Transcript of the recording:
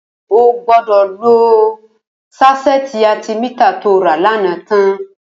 Ó gbọ̀dọ̀ ló sáṣẹ̀ti átẹ̀mità tó rà lànã tãn